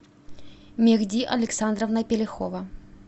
мехди александровна пелихова